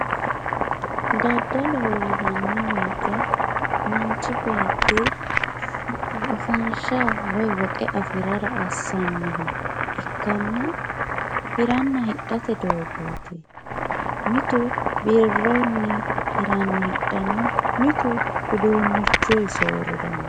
daddaloho yinanni woyiite manchi beetti afanshsha woyi woxe afirara assannoha ikkanna hiranna hixxate dogooti mitu birrunni hiranni hixxanno mitu uduunichuyi sooriranno.